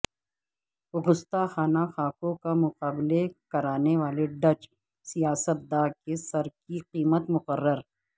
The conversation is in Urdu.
گستاخانہ خاکوں کا مقابلے کرانے والے ڈچ سیاست دا کے سر کی قیمت مقرر